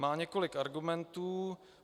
Má několik argumentů.